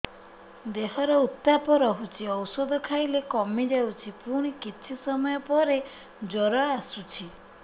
ଦେହର ଉତ୍ତାପ ରହୁଛି ଔଷଧ ଖାଇଲେ କମିଯାଉଛି ପୁଣି କିଛି ସମୟ ପରେ ଜ୍ୱର ଆସୁଛି